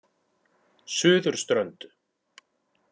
Suðurströnd